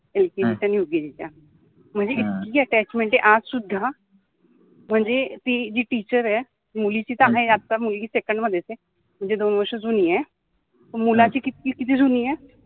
एटिएच्या न्युएच्या म्हनजे इतकि अटॅचमेंट आहे आजसुद्धा म्हनजे ति जि टिचर आहे मुलिचि त आहे आत्ता मुलगि सेकण्ड मधेच आहे म्हनजे दोन वर्ष जुनि आहे वर्षा मुलाचि किति जुनि आहे